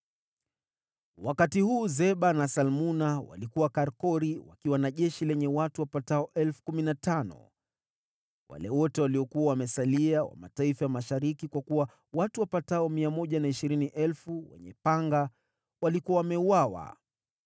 Wakati huu Zeba na Salmuna walikuwa Karkori wakiwa na jeshi lenye watu wapatao 15,000 wale wote waliokuwa wamesalia wa mataifa ya mashariki, kwa kuwa watu wapatao 120,000 wenye panga walikuwa wameuawa.